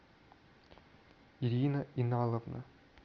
ирина иналовна